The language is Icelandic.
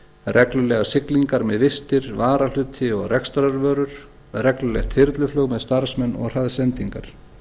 reglulegar siglingar með vistir varahluti og rekstrarvörur reglulegt þyrluflug með starfsmenn og hraðsendingar